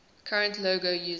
current logo using